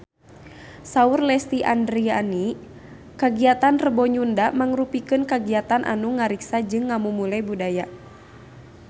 Saur Lesti Andryani kagiatan Rebo Nyunda mangrupikeun kagiatan anu ngariksa jeung ngamumule budaya Sunda